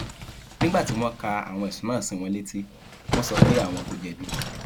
nígbà tí wọn ka àwọn ẹsùn náà sí wọn létí wọn sọ pé àwọn kò jẹbi